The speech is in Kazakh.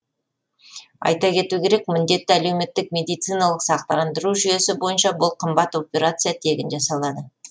айта кету керек міндетті әлеуметтік медициналық сақтандыру жүйесі бойынша бұл қымбат операция тегін жасалады